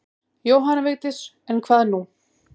Jóhanna Vigdís en hvað nú?